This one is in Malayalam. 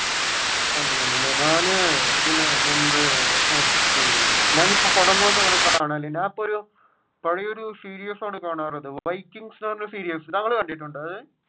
ഞാൻ ഇതിന് മുൻപ് ഞാനിപ്പോ പടങ്ങൾ ഒന്നും അങ്ങനെ കാണാറില്ല. അപ്പൊ ഒരു പഴേ ഒരു സീരീസ് ആണ് കാണാറുള്ളത് വൈകിങ്‌സ്‌ എന്ന് പറഞ്ഞ സീരീസ് താങ്കൾ കണ്ടിട്ടുണ്ടോ അത്?